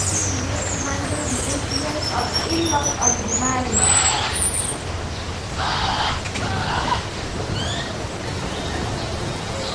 Wetin be di way to handle di influence of in-laws on di marriage?